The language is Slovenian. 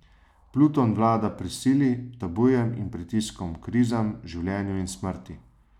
Pluton vlada prisili, tabujem in pritiskom, krizam, življenju in smrti.